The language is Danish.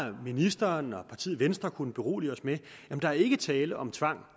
ministeren og partiet venstre kunne berolige os med at der ikke var tale om tvang